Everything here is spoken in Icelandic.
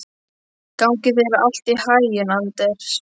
Gangi þér allt í haginn, Anders.